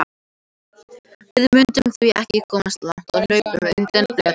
Við mundum því ekki komast langt á hlaupum undan blettatígri!